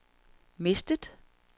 mistet